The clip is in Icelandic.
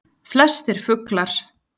Flestir fuglar